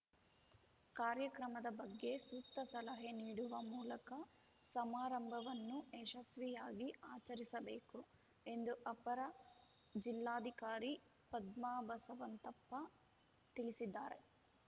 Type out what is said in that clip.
ಕಾರ್ಯಕ್ರಮದ ಬಗ್ಗೆ ಸೂಕ್ತ ಸಲಹೆ ನೀಡುವ ಮೂಲಕ ಸಮಾರಂಭವನ್ನು ಯಶಸ್ವಿಯಾಗಿ ಆಚರಿಸಬೇಕು ಎಂದು ಅಪರ ಜಿಲ್ಲಾಧಿಕಾರಿ ಪದ್ಮಾ ಬಸವಂತಪ್ಪ ತಿಳಿಸಿದ್ದಾರೆ